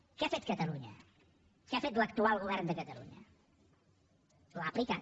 què ha fet catalunya què ha fet l’actual govern de catalunya l’ha aplicat